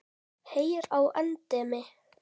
Heyr á endemi.